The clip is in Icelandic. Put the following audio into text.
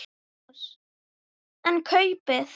Magnús: En kaupið?